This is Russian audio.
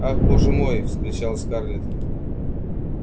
ах боже мой вскричал скарлетт